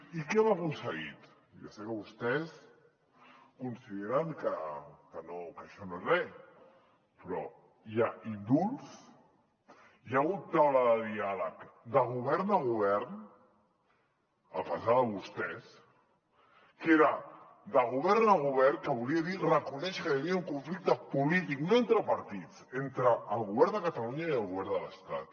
i què hem aconseguit ja sé que vostès consideren que no que això no és re però hi ha indults hi ha hagut taula de diàleg de govern a govern a pesar de vostès que era de govern a govern que volia dir reconèixer que hi havia un conflicte polític no entre partits entre el govern de catalunya i el govern de l’estat